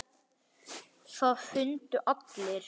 Það fundu allir.